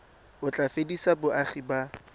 o tla fedisa boagi ba